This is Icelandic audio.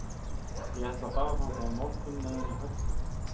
Ég ætla að fara þangað á morgun með henni Höllu.